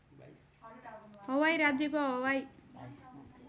हवाई राज्यको हवाई